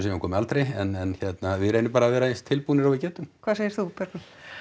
hún komi aldrei en hérna við reynum bara að vera eins tilbúnir og við getum hvað segir þú Bergrún